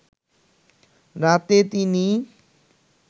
রাতে তিনি